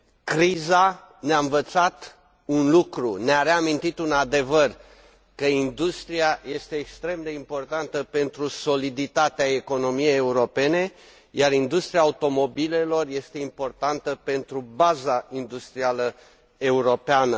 Criza ne a învățat un lucru, ne a reamintit un adevăr că industria este extrem de importantă pentru soliditatea economiei europene, iar industria automobilelor este importantă pentru baza industrială europeană.